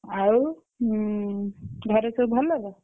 ଆଉ ହୁଁ ଘରେ ସବୁ ଭଲ ତ?